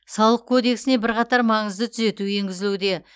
салық кодесіне бірқатар маңызды түзету еңгізілуде